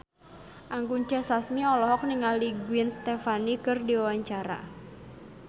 Anggun C. Sasmi olohok ningali Gwen Stefani keur diwawancara